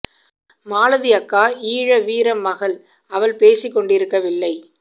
மாலதி அக்கா ஈழ வீர மகள் அவள் பேசிக்கொண்டிருக்கவில்லை